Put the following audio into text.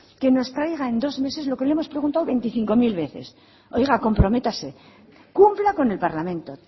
que nos traiga en dos meses lo que le hemos preguntado veinticinco mil veces oiga comprométase cumpla con el parlamento